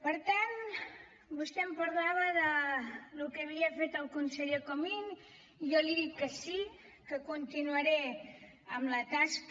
per tant vostè em parlava del que havia fet el conseller comín i jo li he dit que sí que continuaré amb la tasca